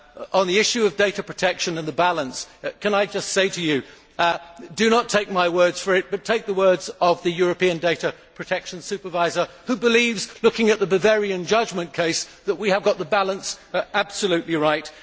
On the issue of data protection and the balance, can I just say to you, do not take my word for it but take the word of the European Data Protection Supervisor who believes, looking at the Bavarian judgment case, that we have got the balance absolutely right.